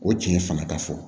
O tiɲɛ fanga ka fɔ